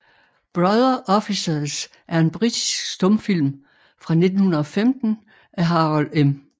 Brother Officers er en britisk stumfilm fra 1915 af Harold M